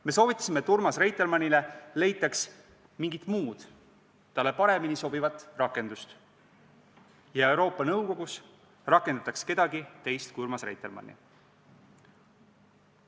Me soovitasime, et Urmas Reitelmannile leitaks mingi muu, talle paremini sobiv rakendus, ja Euroopa Nõukogus rakendataks kedagi teist kui Urmas Reitelmanni.